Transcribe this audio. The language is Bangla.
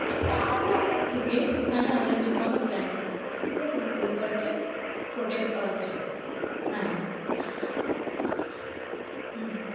তারও আগের থেকে এখানে অজয় দেবগনও plan করে এসছে ঠিক আছে ওর পরিবারকে protect করার জন্য হ্যাঁ, হম